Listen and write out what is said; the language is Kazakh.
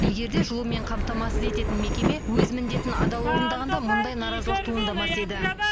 егер де жылумен қамтамасыз ететін мекеме өз міндетін адал орындағанда мұндай наразылық туындамас еді